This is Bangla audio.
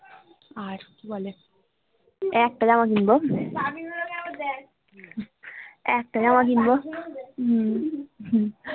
আর কি বলে একটা জামা কিনবো একটা জামা কিনবো একটা জামা কিনবো হম